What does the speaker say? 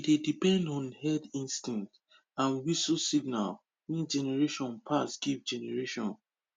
we dey depend on herd instinct and whistle signal wey generation pass give generation